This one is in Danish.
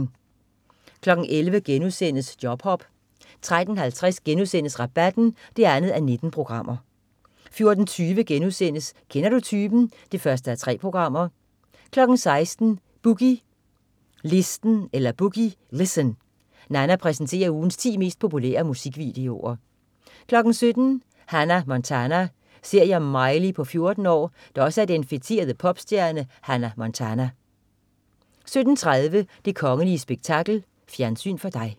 11.00 Jobhop* 13.50 Rabatten 2:19* 14.20 Kender du typen 1:3* 16.00 Boogie Listen. Nanna præsenterer ugens ti mest populære musikvideoer 17.00 Hannah Montana. Serie om Miley på 14 år, der også er den feterede popstjerne Hannah Montana 17.30 Det kongelige spektakel. Fjernsyn for Dig